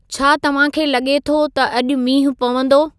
छा तव्हां खे लॻे थो त अॼु मींहुं पवंदो